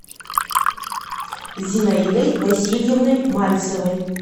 зинаидой васильевной мальцевой